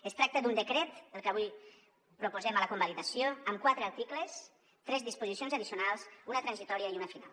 es tracta d’un decret el que avui proposem a la convalidació amb quatre articles tres disposicions addicionals una transitòria i una final